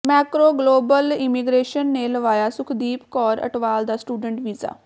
Macro Global Immigration ਨੇ ਲਵਾਇਆ ਸੁਖਦੀਪ ਕੌਰ ਅਟਵਾਲ ਦਾ ਸਟੂਡੈਂਟ ਵੀਜ਼ਾ